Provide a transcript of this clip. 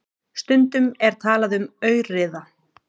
Stundum er talað um aurriða.